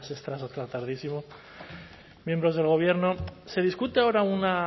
extra hasta tardísimo miembros del gobierno se discute ahora una